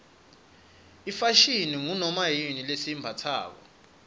ifashini ngunoma yini lesiyimbatsako